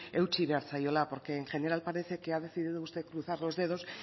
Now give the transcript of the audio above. eutsi behar zaiola porque en general parece que ha decidido usted cruzar los dedos